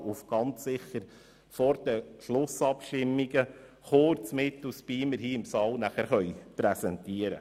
Aber ganz sicher können wir diese Eckwerte vor den Schlussabstimmungen im Saal präsentieren.